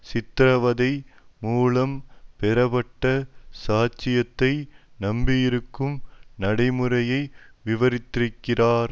சித்திரவதை மூலம் பெறப்பட்ட சாட்சியத்தை நம்பியிருக்கும் நடைமுறையை விவரித்திருக்கிறார்